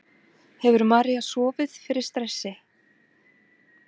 Hefur María sofið fyrir stressi?